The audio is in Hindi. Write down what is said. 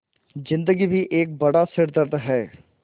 ज़िन्दगी भी एक बड़ा सिरदर्द है